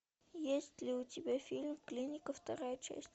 есть ли у тебя фильм клиника вторая часть